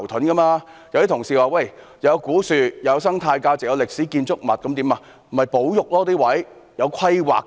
有些同事說，那裏有古樹，有生態價值及歷史建築物，故此不應收回。